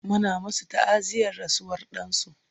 Muna masu ta'aziyar rasuwar dansu